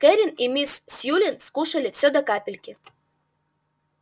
кэррин и мисс сьюлин скушали всё до капельки